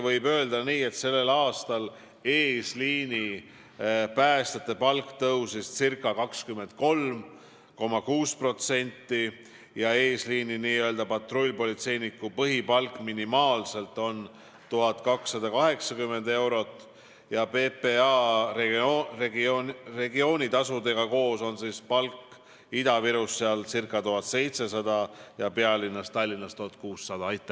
Võib öelda isegi nii, et sellel aastal tõusis n-ö eesliini päästja palk ca 23,6% ja eesliini patrullpolitseiniku põhipalk on minimaalselt 1280 eurot, koos PPA regioonitasudega on palk Ida-Virumaal ca 1700 eurot ja pealinnas Tallinnas 1600 eurot.